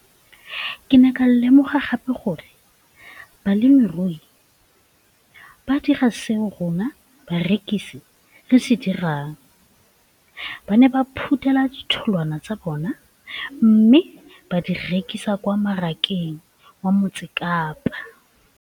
Ke ne ka lemoga gape gore balemirui ba dira seo rona barekisi re se dirang - ba ne ba phuthela ditholwana tsa bona mme ba di rekisa kwa marakeng wa Motsekapa.